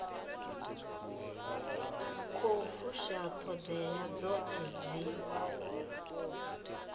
khou fusha ṱhoḓea dzoṱhe dzi